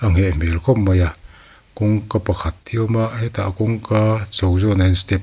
a ngheh hmel khawp mai a kawngka pakhat hi a awm a hetah kawngka chho zawnah hian step --